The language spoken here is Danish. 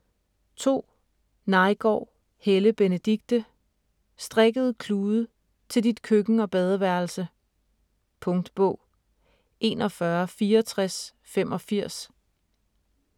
2. Neigaard, Helle Benedikte: Strikkede klude: til dit køkken og badeværelse Punktbog 416485